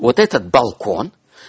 вот этот балкон